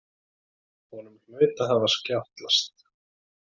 Honum hlaut að hafa skjátlast.